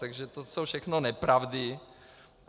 Takže to jsou všechno nepravdy.